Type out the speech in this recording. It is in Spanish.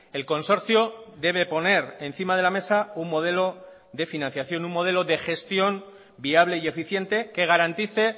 el consorcio debe poner encima de la mesa un modelo de financiación un modelo de gestión viable y eficiente que garantice